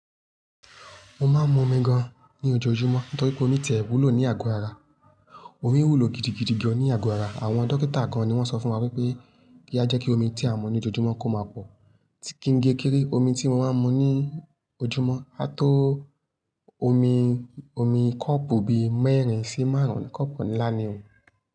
Mo máa ń mu omi gan ní ojoojúmọ́ nítorí pé omi tẹ̀ wúlò ní àgọ ara. Omi wúlò gidigidi gan ní àgọ̀ ara. Àwọn dókítà gan ni wọ́n sọ fún wa wípé kí a jẹ́ kí omi tí à ń mu ní ojoojúmọ́ kó máa pọ̀. Kí n ge kere, omi tí mo máa ń mu ní ojúmọ́ á tó omi, omi kọ́pù bí mẹ́rin sí márùn-ún kọ́pù ńlá ni.